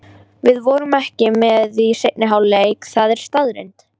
Við vorum ekki með í seinni hálfleiknum, það er staðreynd.